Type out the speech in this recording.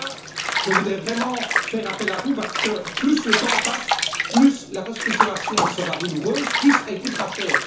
Et là, je voudrais vraiment faire appel à vous parce que, plus le temps passe, plus la restructuration sera douloureuse, plus elle coûtera cher.